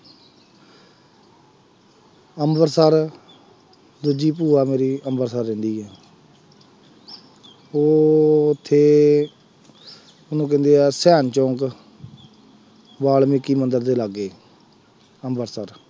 ਅੰਮ੍ਰਿਤਸਰ ਦੂਜੀ ਭੂਆ ਮੇਰੀ ਅੰਮ੍ਰਿਤਸਰ ਰਹਿੰਦੀ ਹੈ ਹੋਰ ਤੇ ਉਹਨੂੰ ਕਹਿੰਦੇ ਆ ਧਿਆਨ ਚੌਂਕ, ਵਾਲਮਿਕੀ ਮੰਦਿਰ ਦੇ ਲਾਗੇ, ਅੰਮ੍ਰਿਤਸਰ